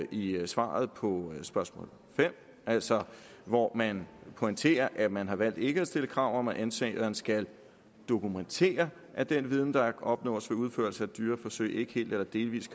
i svaret på spørgsmål fem altså hvor man pointerer at man har valgt ikke at stille krav om at ansøgeren skal dokumentere at den viden der opnås ved udførelse af dyreforsøg ikke helt eller delvis